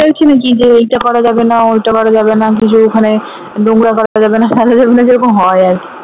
আছে নাকি যে ওইটা করা যাবেনা ওইটা করা যাবেনা ব্রিজের ওখানে নোংরা করা যাবেনা ফেলা যাবেনা যেরকম হয় আরকি